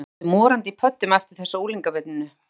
Maður er allur morandi í pöddum eftir þessa unglingavinnu.